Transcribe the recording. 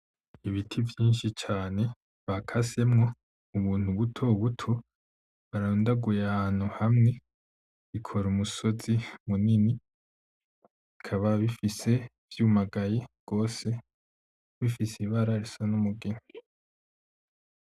Ibiti vyinshi cane bakasemwo ubuntu butobuto barundaguye ahantu hamwe bikora umusozi munini bikaba bifise, vyumagaye gose , bifise ibara risa numugina .